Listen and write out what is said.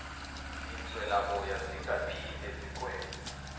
zinswelaboya zingaphinde zikwenze